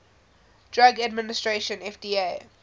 drug administration fda